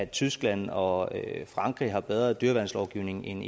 tyskland og frankrig har bedre dyreværnslovgivning end